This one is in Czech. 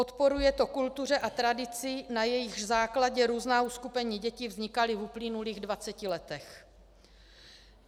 Odporuje to kultuře a tradici, na jejichž základě různá uskupení dětí vznikala v uplynulých dvaceti letech.